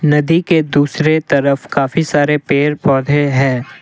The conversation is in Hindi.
नदी के दूसरे तरफ काफी सारे पेड़ पौधे हैं।